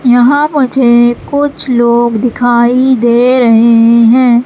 यहाँ मुझे कुछ लोग दिखाइ दे रहे है।